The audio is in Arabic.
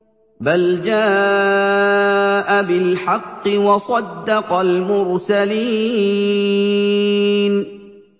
بَلْ جَاءَ بِالْحَقِّ وَصَدَّقَ الْمُرْسَلِينَ